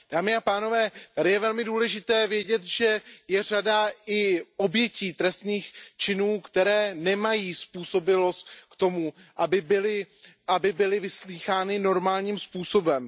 Dámy a pánové, tady je velmi důležité vědět, že je i řada obětí trestných činů, které nemají způsobilost k tomu, aby byly vyslýchány normálním způsobem.